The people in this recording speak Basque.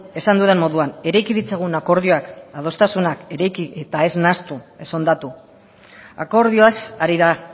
esan dudan moduan eraiki ditzagun akordioak adostasunak eraiki eta ez nahastu ez hondatu akordioaz ari da